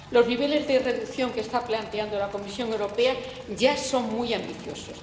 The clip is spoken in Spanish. Los niveles de reducción que está planteando la Comisión Europea ya son muy ambiciosos.